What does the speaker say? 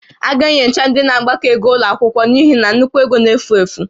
A ga-enyocha ndị na-agbakọ ego ụlọ akwụkwọ n'ihi na nnukwu ego n'efu efu